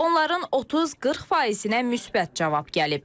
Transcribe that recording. Onların 30-40%-nə müsbət cavab gəlib.